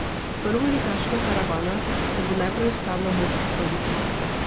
Prvoligaška karavana se bo najprej ustavila v Murski Soboti.